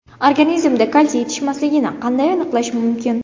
Organizmda kalsiy yetishmasligini qanday aniqlash mumkin?